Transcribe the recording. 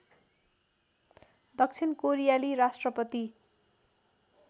दक्षिण कोरियाली राष्ट्रपति